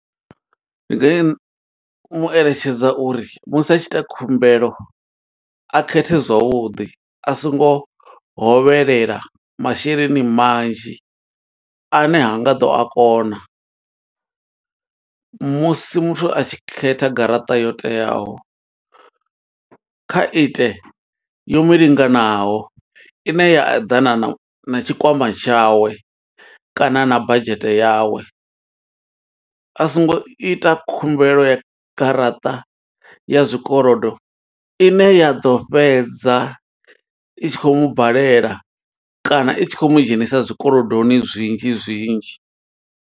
Ndi, mu eletshedza uri musi a tshi ita khumbelo, a khethe zwavhuḓi. A songo hovhelela masheleni manzhi, ane ha nga ḓo a kona. Musi muthu a tshi khetha garaṱa yo teaho, kha ite yo mulinganaho, ine ya eḓana na tshikwama tshawe kana na badzhete yawe. A songo ita khumbelo ya garaṱa ya zwikolodo, ine ya ḓo fhedza i tshi khou mubalela, kana i tshi khou mu dzhenisa zwikolodoni zwinzhi zwinzhi.